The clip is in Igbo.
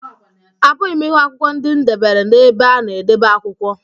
Apụghị m ịhụ akwụkwọ ndị m debere n'ebe a na-edebe akwụkwọ